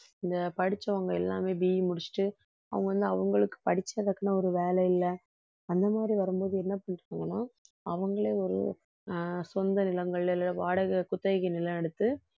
இந்த படிச்சவங்க எல்லாமே BE முடிச்சுட்டு அவங்க வந்து அவங்களுக்கு படிச்சதுக்குன்னு ஒரு வேலை இல்லை அந்த மாதிரி வரும்போது என்ன புரிஞ்சுப்பாங்கன்னா அவங்களே ஒரு ஆஹ் சொந்த நிலங்கள்ல இல்லை வாடகை குத்தகைக்கு நிலம் எடுத்து